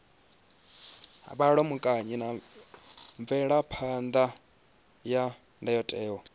vhulamukanyi na mvelaphan ḓa ya ndayotewa